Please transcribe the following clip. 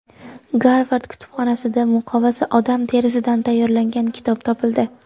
Garvard kutubxonasida muqovasi odam terisidan tayyorlangan kitob topildi.